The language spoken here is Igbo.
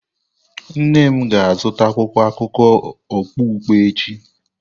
Nne m ga-azụta akwụkwọ akụkọ okpukpe echi.